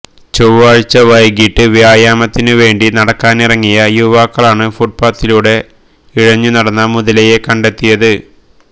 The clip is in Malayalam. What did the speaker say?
ചൊവ്വാഴ്ച വൈകീട്ട് വ്യായാമത്തിനു വേണ്ടി നടക്കാനിറങ്ങിയ യുവാക്കളാണ് ഫുട്പാത്തിലൂടെ ഇഴഞ്ഞുനടന്ന മുതലയെ കണ്ടെത്തിയത്